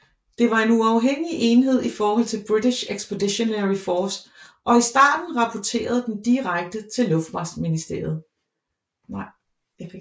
Det var en uafhængig enhed i forhold til British Expeditionary Force og i starten rapporterede den direkte til luftfartsministeriet